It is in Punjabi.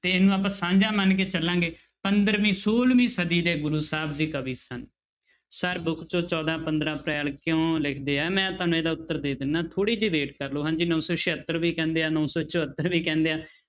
ਤੇ ਇਹਨੂੰ ਆਪਾਂ ਸਾਂਝਾ ਮੰਨ ਕੇ ਚੱਲਾਂਗੇ ਪੰਦਰਵੀਂ ਛੋਲਵੀਂ ਸਦੀ ਦੇ ਗੁਰੂ ਸਾਹਿਬ ਜੀ ਕਵੀ ਸਨ sir book ਚੋਂ ਚੌਦਾਂ ਪੰਦਰਾਂ ਅਪ੍ਰੈਲ ਕਿਉਂ ਲਿਖਦੇ ਆ ਮੈਂ ਤੁਹਾਨੂੰ ਇਹਦਾ ਉੱਤਰ ਦੇ ਦਿਨਾ ਥੋੜ੍ਹੀ ਜਿਹੀ wait ਕਰ ਲਓ ਹਾਂਜੀ ਨੋ ਸੌ ਛਿਹੱਤਰ ਵੀ ਕਹਿੰਦੇ ਆ, ਨੋ ਸੌ ਚੁਹੱਤਰ ਵੀ ਕਹਿੰਦੇ ਆ